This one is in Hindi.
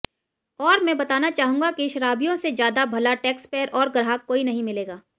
और मैं बताना चाहूंगा कि शराबियों से ज्यादा भला टैक्सपेयर और ग्राहक कोई नहीं मिलेगा